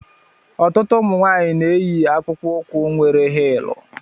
Ọtụtụ ụmụnwaanyi na-eyi akpụkpọ ukwu nwere hilú.